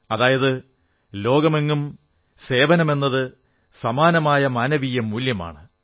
അതായത് ലോകമെങ്ങും സേവനമെന്നത് സമാനമായ മാനവീയ മൂല്യമാണ്